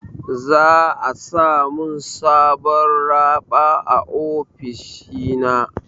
Za'a sa min sabon raɓa a ofishina.